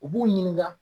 U b'u ɲininka